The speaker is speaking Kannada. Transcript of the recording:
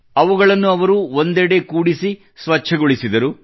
ಅವುಗಳನ್ನು ಅವರು ಒಂದೆಡೆ ಕೂಡಿಸಿ ಸ್ವಚ್ಛಗೊಳಿಸಿದರು